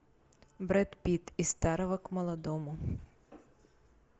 брэд питт из старого к молодому